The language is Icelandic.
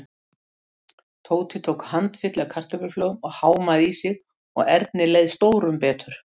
Tóti tók handfylli af kartöfluflögum og hámaði í sig og Erni leið stórum betur.